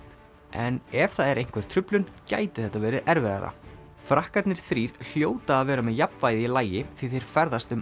en ef það er einhver truflun geti þetta verið erfiðara frakkarnir þrír hljóta að vera með jafnvægið í lagi því þeir ferðast um